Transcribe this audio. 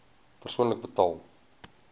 persoonlik betaal